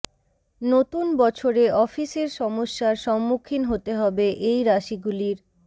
নতুন বছরে অফিসের সমস্যার সম্মুখিন হতে হবে এই রাশিগুলির